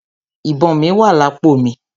Ìbọn mí wà lápò mi.